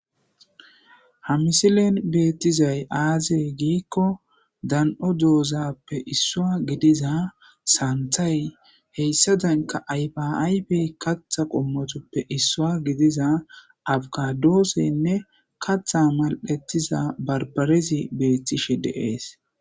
Ha misilen betizay aaze gikon, dan'o dozappe issa gidiza santhey hessadanke ayfa ayfe katha qommotappe issuwa gidiza abukadosenne katha mal'ethiza bambarezi beetishe de'es.